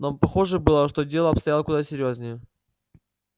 но похоже было что дело обстояло куда серьёзнее